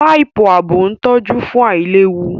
Páìpù ààbò ń tọ́jú fún àìlewu